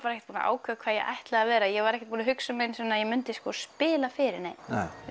ekkert búin að ákveða hvað ég ætlaði að vera ég var ekkert búin að hugsa mig um svona að ég myndi sko spila fyrir neinn